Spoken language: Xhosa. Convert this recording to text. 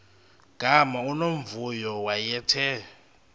gama unomvuyo wayethe